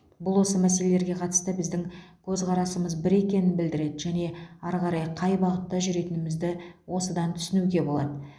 бұл осы мәселелерге қатысты біздің көзқарасымыз бір екенін білдіреді және ары қарай қай бағытта жүретінімізді осыдан түсінуге болады